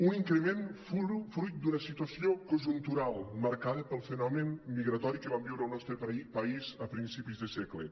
un increment fruit d’una situació conjuntural marcada pel fenomen migratori que vam viure al nostre país a principis de segle